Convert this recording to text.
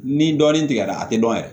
Ni dɔɔnin tigɛra a tɛ dɔn yɛrɛ